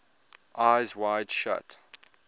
eyes wide shut